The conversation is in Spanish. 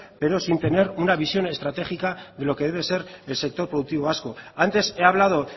pero sin tener una visión estratégica de lo que debe ser el sector productivo vasco antes he hablado